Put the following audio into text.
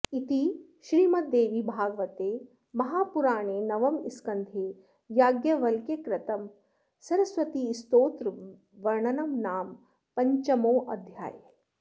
इति श्रीमद्देवीभागवते महापुराणे नवमस्कन्धे याज्ञवल्क्यकृतं सरस्वतीस्तोत्रवर्णनं नाम पञ्चमोऽध्यायः